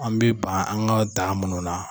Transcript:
An bɛ ban an ka o tan minnu na.